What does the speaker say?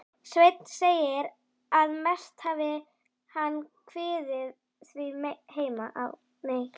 Sveinn segir, að mest hafi hann kviðið því heima á